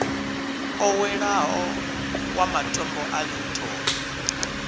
oweleaho wa matombo a linton